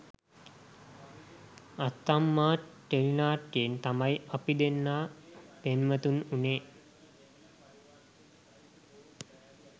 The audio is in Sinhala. අත්තම්මා ටෙලිනාට්‍යයෙන් තමයි අපි දෙන්නා පෙම්වතුන් වුණේ